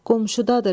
Qonşudadır.